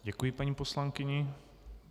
Děkuji paní poslankyni.